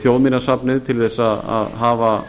þjóðminjasafnið til að hafa